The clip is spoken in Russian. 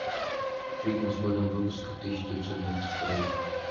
фильмы с годом выпуска тысяча девятьсот девяносто второй